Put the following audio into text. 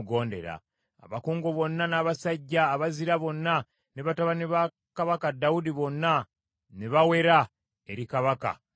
Abakungu bonna n’abasajja abazira bonna, ne batabani ba kabaka Dawudi bonna ne bawera eri kabaka Sulemaani.